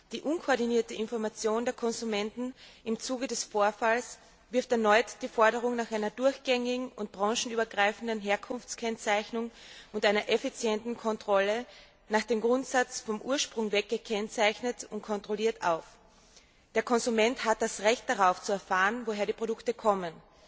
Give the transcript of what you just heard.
Die unkoordinierte Information der Konsumenten im Zuge des Vorfalls wirft erneut die Forderung nach einer durchgängigen und branchenübergreifenden Herkunftskennzeichnung und einer effizienten Kontrolle nach dem Grundsatz vom Ursprung weg gekennzeichnet und kontrolliert auf. Der Konsument hat das Recht darauf, zu erfahren, woher die Produkte kommen.